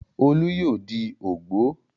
Olú yóò di ògbó.